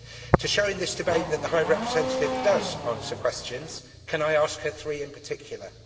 To show in this debate that the High Representative does answer questions, can I ask her three in particular?